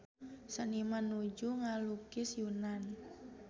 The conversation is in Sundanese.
Seniman nuju ngalukis Yunan